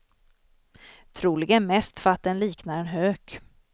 Troligen mest för att den liknar en hök.